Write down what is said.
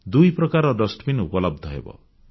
ଦୁଇ ପ୍ରକାରର ଡଷ୍ଟବିନ୍ ଉପଲବ୍ଧ ହେବ